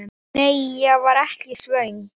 Nei, ég var ekki svöng.